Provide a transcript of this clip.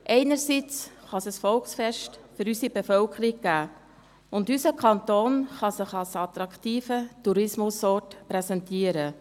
Einerseits kann es ein Volksfest für unsere Bevölkerung geben, und unser Kanton kann sich als attraktiver Tourismusort präsentieren.